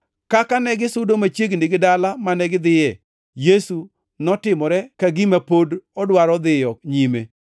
Kaka negisudo machiegni gi dala mane gidhiye, Yesu notimore ka gima pod odwaro dhiyo nyime.